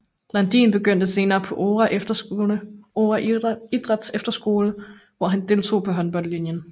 Landin begyndte senere på Oure Idrætsefterskole hvor han deltog på håndboldlinien